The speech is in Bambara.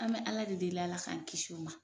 An bɛ Ala de deli Ala k'an kisi o ma.